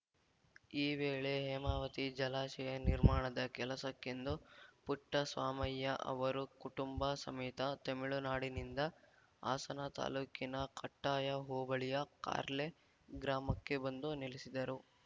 ಈ ವೇಳೆ ಹೇಮಾವತಿ ಜಲಾಶಯ ನಿರ್ಮಾಣದ ಕೆಲಸಕ್ಕೆಂದು ಪುಟ್ಟಸ್ವಾಮಯ್ಯ ಅವರು ಕುಟುಂಬ ಸಮೇತ ತೆಮಿಳುನಾಡಿನಿಂದ ಹಾಸನ ತಾಲೂಕಿನ ಕಟ್ಟಾಯ ಹೋಬಳಿಯ ಕಾರ್ಲೆ ಗ್ರಾಮಕ್ಕೆ ಬಂದು ನೆಲೆಸಿದ್ದರು